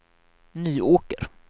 Nyåker